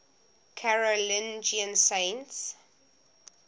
carolingian saints